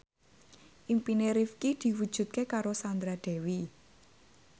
impine Rifqi diwujudke karo Sandra Dewi